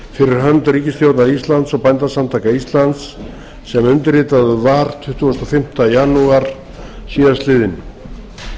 hönd ríkisstjórnar íslands og bændasamtaka íslands sem undirritaður var tuttugasta og fimmta janúar síðastliðinn